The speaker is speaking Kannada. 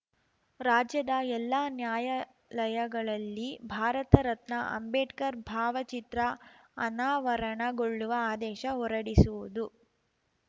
ರಾಜ್ಯದ ಎಲ್ಲಾ ನ್ಯಾಯಾಲಯಗಳಲ್ಲಿ ಭಾರತ ರತ್ನ ಅಂಬೇಡ್ಕರ್ ಭಾವಚಿತ್ರ ಅನಾವರಣಗೊಳ್ಳುವ ಆದೇಶ ಹೊರಡಿಸುವುದು